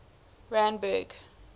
randburg